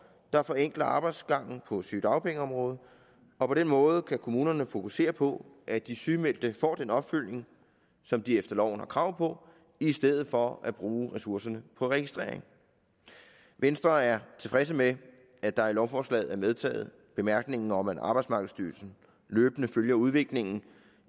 der forenkler arbejdsgangen på sygedagpengeområdet og på den måde kan kommunerne fokusere på at de sygemeldte får den opfølgning som de efter loven har krav på i stedet for at bruge ressourcerne på registrering venstre er tilfredse med at der i lovforslaget er medtaget bemærkningen om at arbejdsmarkedsstyrelsen løbende følger udviklingen